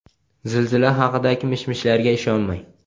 Zilzila haqidagi mish-mishlarga ishonmang!.